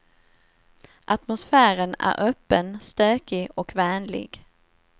Atmosfären är öppen, stökig och vänlig.